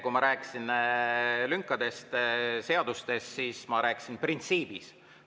Kui ma rääkisin lünkadest seadustes, siis ma rääkisin printsiibist.